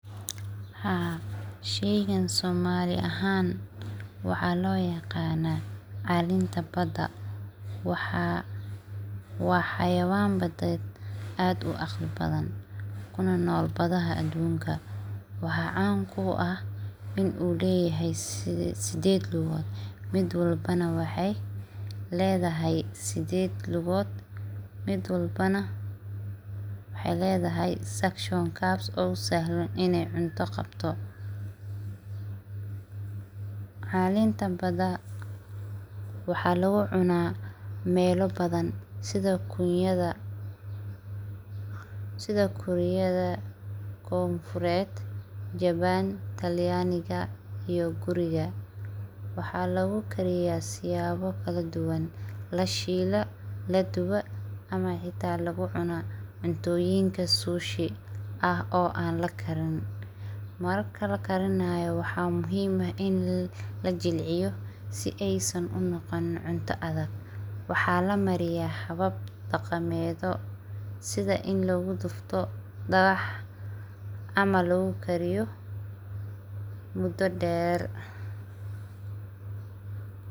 Haa shegkan soma ahan waxa loyaqana calinta bada, wa hawayan badad ad uqali badan kuna nol badaha adunka wax can ku ah inu lahay sidad lugod mid walbana waxay ladahay sidad lugod mid walbo nah, waxay ladahay saagshonka ina cunta qabtoh, calint bada, wax laga cuna mal badan side guryada gonfurad jawan talyanika iyo gurika waxa logu gariya siyawo kale dugan laa shila ladowa ama hita lagu cuna cutoyinka soshedka oo an lagarinin, marka la garinayoh waxa muhiim ah in la jilciyo sii ay saan u noqonin cunta adag waxa lamariya hawab daqamado sida in lagu dartoh ama lagu gariyoh, muda dar ama lagu gariyo.